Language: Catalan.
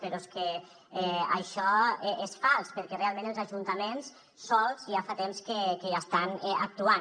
però és que això és fals perquè realment els ajuntaments sols ja fa temps que hi estan actuant